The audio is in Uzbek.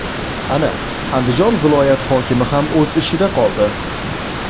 Ana, Andijon viloyat hokimi ham o‘z ishida qoldi.